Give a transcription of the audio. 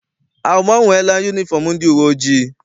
A gbanweela yunifọm ndị uwe ojii?